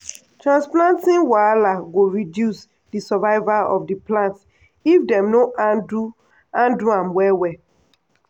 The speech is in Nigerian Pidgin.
transplanting wahala go reduce di survival of di plants if dem no handle handle am well well.